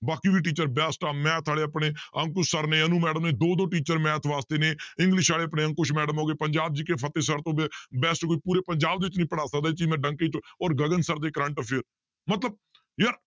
ਬਾਕੀ ਵੀ teacher best ਆ math ਵਾਲੇ ਆਪਣੇ ਅੰਕੁਸ sir ਨੇ ਅਨੂ madam ਨੇ ਦੋ ਦੋ teacher math ਵਾਸਤੇ ਨੇ english ਵਾਲੇ ਆਪਣੇ ਅੰਕੁਸ madam ਹੋ ਗਏ, ਪੰਜਾਬ GK ਫਤਿਹ sir ਹੋ ਗਏ best ਕੋਈ ਪੂਰੇ ਪੰਜਾਬ ਦੇ ਵਿੱਚ ਨੀ ਪੜ੍ਹਾ ਸਕਦਾ, ਇਹ ਚੀਜ਼ ਮੈ ਡੰਕੇ ਤੇ ਔਰ ਗਗਨ sir ਦੇ current affair ਮਤਲਬ ਯਾਰ